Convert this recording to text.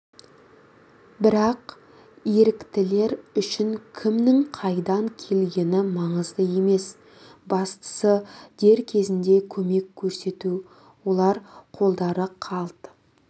бірақ еріктілер үшін кімнің қайдан келгені маңызды емес бастысы дер кезінде көмек көрсету олар қолдары қалт